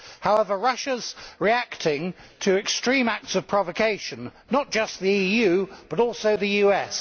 However, Russia is reacting to extreme acts of provocation, not just by the EU but also the US.